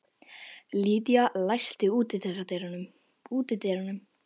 Lydia, læstu útidyrunum.